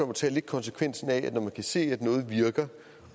må tage konsekvensen af det at man kan se at noget virker